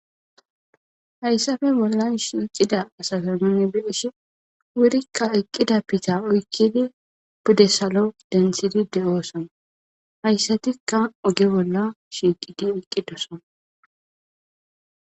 hayssafe bolla shiicida asazaman beeshi wurikka eqqida pita oykkidi pudde salo dentsidi de7oosana hayssatikka oge bolla shiiqidi eqqidosona